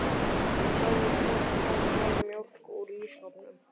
Og sástu hvort það hvarf mjólk úr ísskápnum?